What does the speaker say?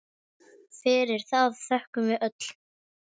Fyrir það þökkum við öll.